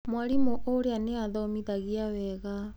Mwarimũ ũrĩa nĩ athomithagia wega.